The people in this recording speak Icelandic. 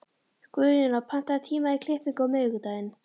Guðjóna, pantaðu tíma í klippingu á miðvikudaginn.